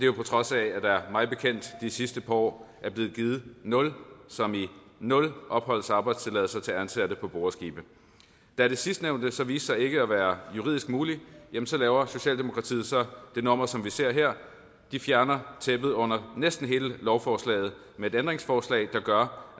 jo på trods af at der mig bekendt de sidste par år er blevet givet nul som i nul opholds og arbejdstilladelser til ansatte på boreskibe da det sidstnævnte så viser sig ikke at være juridisk muligt laver socialdemokratiet det nummer som vi ser her de fjerner tæppet under næsten hele lovforslaget med et ændringsforslag der gør